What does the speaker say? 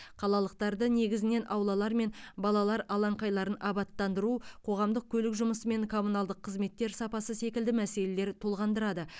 қалалықтарды негізінен аулалар мен балалар алаңқайларын абаттандыру қоғамдық көлік жұмысы мен коммуналдық қызметтер сапасы секілді мәселелер толғандырады